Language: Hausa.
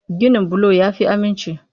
Ginin bulo ya fi aminci.